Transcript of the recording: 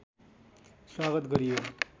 स्वागत गरियो